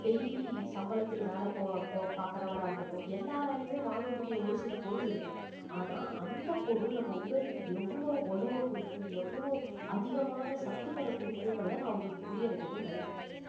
daily சம்பளத்துக்கு வேலை போ~ போ~ பார்க்கிறவரா இருக்கட்டும் எல்லாராலையுமே வாங்கக்கூடிய ஒரு சில பொருள் இருக்கு ஆனால் அந்தப் பொருள் நம்ம உடலுக்கு எவ்வளவு வலுவை கொடுக்கும் எவ்வளவு அதிகமான சத்துக்களை கொடுக்கும்ன்றதை நான் உங்களுக்கு புரிய வைக்கணும்னு நினைக்கிறேன்